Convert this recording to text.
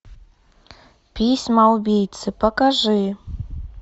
письма убийцы покажи